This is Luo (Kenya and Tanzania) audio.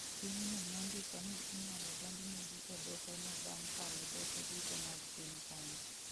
Pinyno nondiko ni inyalo donjnegi e doho no bang' kalo doho duto mag piny kanyo